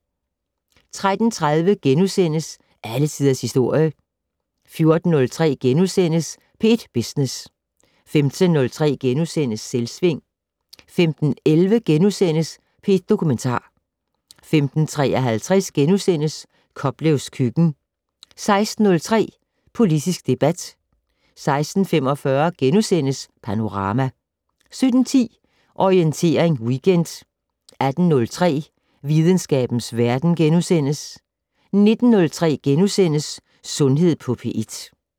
13:30: Alle Tiders Historie * 14:03: P1 Business * 15:03: Selvsving * 15:11: P1 Dokumentar * 15:53: Koplevs køkken * 16:03: Politisk debat 16:45: Panorama * 17:10: Orientering Weekend 18:03: Videnskabens Verden * 19:03: Sundhed på P1 *